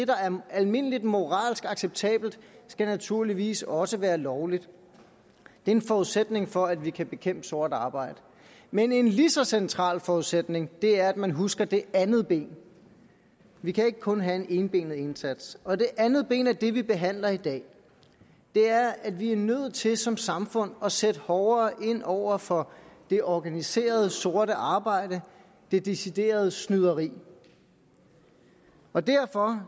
der er almindeligt moralsk acceptabelt naturligvis også skal være lovligt det er en forudsætning for at vi kan bekæmpe sort arbejde men en lige så central forudsætning er at man husker det andet ben vi kan ikke kun have en enbenet indsats og det andet ben er det vi behandler i dag det er at vi er nødt til som samfund at sætte hårdere ind over for det organiserede sorte arbejde det deciderede snyderi og derfor